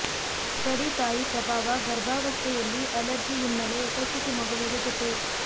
study ತಾಯಿ ಪ್ರಭಾವ ಗರ್ಭಾವಸ್ಥೆಯಲ್ಲಿ ಅಲರ್ಜಿ ಹಿನ್ನೆಲೆ ಉಪಸ್ಥಿತಿ ಮಗುವಿಗೆ ಜೊತೆ